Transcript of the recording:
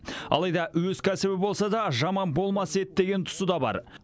алайда өз кәсібі болса да жаман болмас еді деген тұсы да бар